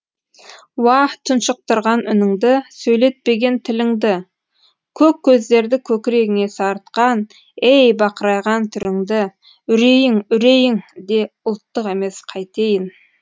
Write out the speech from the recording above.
уа тұншықтырған үніңді сөйлетпеген тіліңді көк көздерді көкірегіңе сарытқан ей бақырайған түріңді үрейің үрейің де ұлттық емес қайтейін